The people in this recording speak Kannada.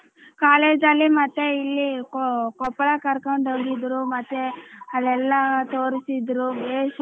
ಕಾಲೇಜಲ್ಲಿ ಮತ್ತೆ ಇಲ್ಲಿ ಕೊ~ ಕೊಪ್ಪಳಗ ಕರಕೊಂಡ ಹೋಗಿದ್ರೂ ಮತ್ತೆ ಅಲ್ಲೆಲ್ಲ ತೋರ್ಸಿದ್ರು ಬೇಸ್.